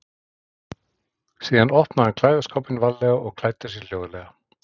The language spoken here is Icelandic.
Síðan opnaði hann klæðaskápinn varlega og klæddi sig hljóðlega.